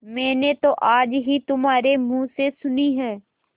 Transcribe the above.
मैंने तो आज ही तुम्हारे मुँह से सुनी है